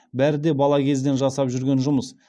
бәрі де бала кезден жасап жүрген жұмыс